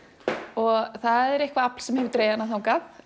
og það er eitthvað afl sem hefur dregið hana þangað